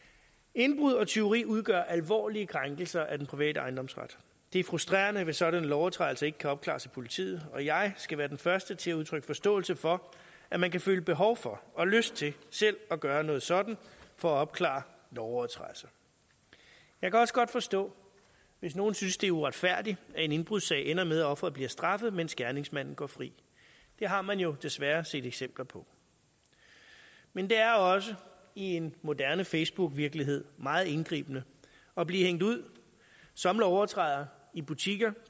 indbrud og tyveri udgør alvorlige krænkelser af den private ejendomsret det er frustrerende hvis sådanne lovovertrædelser ikke kan opklares af politiet og jeg skal være den første til at udtrykke forståelse for at man kan føle behov for og lyst til selv at gøre noget sådant for at opklare lovovertrædelser jeg kan også godt forstå hvis nogen synes det er uretfærdigt at en indbrudssag ender med at offeret bliver straffet mens gerningsmanden går fri det har man jo desværre set eksempler på men det er også i en moderne facebookvirkelighed meget indgribende at blive hængt ud som lovovertræder i butikker